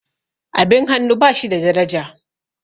abin hannu ba shi da daraja